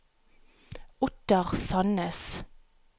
Ottar Sannes